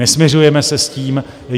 Nesmiřujeme se s tím.